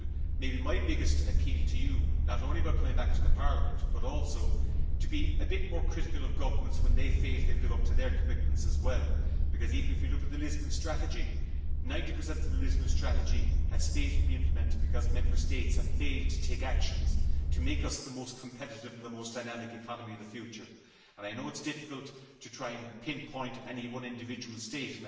Maybe my biggest appeal to you not only about coming back to Parliament would also be to be a bit more critical of governments when they fail to live up to their commitments because, even if we look at the Lisbon Strategy, 90 of the Lisbon Strategy has failed to be implemented because Member States have failed to take action to make us the most competitive and the most dynamic economy of the future. I know it is difficult to try and pinpoint any one individual state.